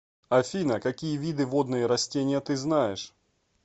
афина какие виды водные растения ты знаешь